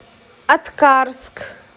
аткарск